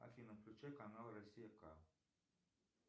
афина включи канал россия к